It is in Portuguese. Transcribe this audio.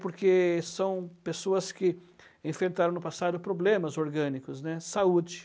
Porque são pessoas que enfrentaram no passado problemas orgânicos, né, saúde.